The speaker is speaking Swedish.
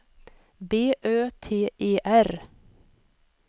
B Ö T E R